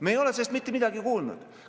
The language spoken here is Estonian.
Me ei ole sellest mitte midagi kuulnud.